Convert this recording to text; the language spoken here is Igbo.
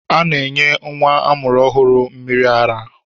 A na-enye nwa amụrụ ọhụrụ mmịrị ara.